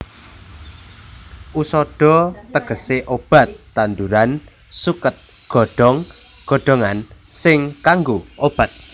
Usadha tegese obat tanduran suket godhong godhongan sing kanggo obat